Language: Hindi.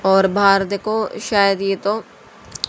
और बाहर देखो शायद ये तो--